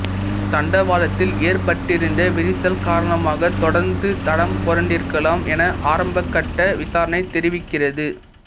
தண்டவாளத்தில் ஏற்பட்டிருந்த விரிசல் காரணமாக தொடருந்து தடம்புரண்டிருக்கலாம் என ஆரம்பகட்ட விசாரணை தெரிவிக்கிறது